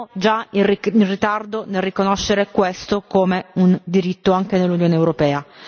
Siamo già in ritardo nel riconoscere questo come un diritto anche nell'Unione europea.